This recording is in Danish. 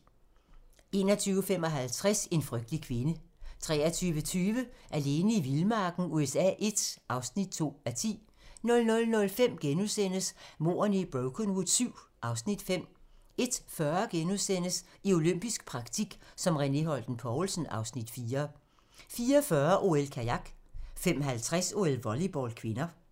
21:55: En frygtelig kvinde 23:20: Alene i vildmarken USA I (2:10) 00:05: Mordene i Brokenwood VII (Afs. 5)* 01:40: I olympisk praktik som René Holten Poulsen (Afs. 4)* 04:40: OL: Kajak 05:50: OL: Volleyball (k)